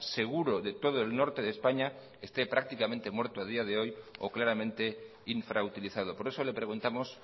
seguro de todo el norte de españa esté prácticamente muerto a día de hoy o claramente infrautilizado por eso le preguntamos